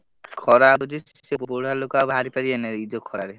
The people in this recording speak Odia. ଖରା ହଉଛି ସେ ବୁଢା ଲୋକ ବାହାରି ପାଇବେନି ଏ ଯୋଉ ଖରାରେ।